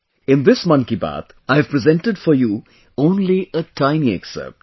In this 'Mann Ki Baat', I have presented for you only a tiny excerpt